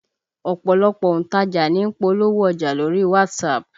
Ọ̀pọ̀lọpọ̀ òǹtajà ní ń polówó ọjà lórí WhatsApp